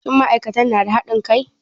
Shin ma'aikatan na da haɗin kai?